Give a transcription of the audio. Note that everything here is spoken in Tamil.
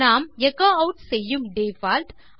நாம் எச்சோ ஆட் செய்யும் டிஃபால்ட்